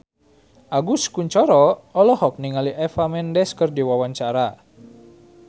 Agus Kuncoro olohok ningali Eva Mendes keur diwawancara